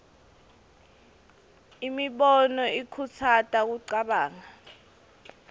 imibono ikhutsata kucabanga